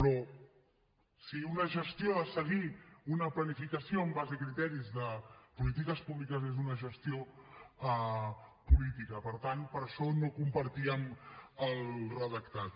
però si una gestió ha de seguir una planificació amb base en criteris de polítiques públiques és una gestió política per tant per això no compartíem el redactat